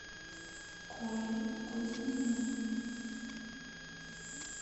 колей кузьминым